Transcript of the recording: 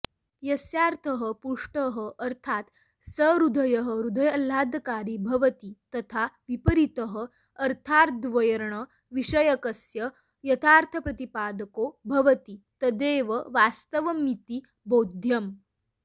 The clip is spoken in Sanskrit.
यस्यार्थः पुष्टः अर्थात् सहृदयहृदयाह्लादकारी भवति तथाऽविपरीतः अर्थाद्वण्र्यविषयकस्य यथार्थप्रतिपादको भवति तदेववास्तवमिति बोध्यम्